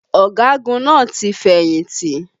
Ọ̀gagun náà ti fẹ̀yìntì